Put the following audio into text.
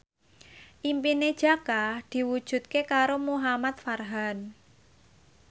impine Jaka diwujudke karo Muhamad Farhan